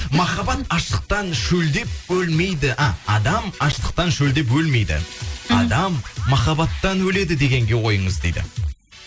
махаббат аштықтан шөлдеп өлмейді а адам аштықтан шөлдеп өлмейді адам махаббаттан өледі дегенге ойыңыз дейді